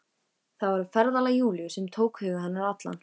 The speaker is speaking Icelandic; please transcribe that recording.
Það var ferðalag Júlíu sem tók hug hennar allan.